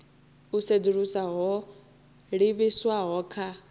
u sedzulusa ho livhiswaho kha